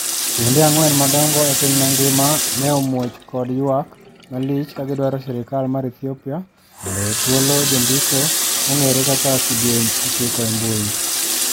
Kuonde angwen madongo epiny mangima ne omuoch kod ywak malich ka gidwaro sirkal mar Ethiopia mondo owe thuolo jondiko mong'ere kaka Kidieny ochiko embui.